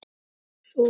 Einsog hvað?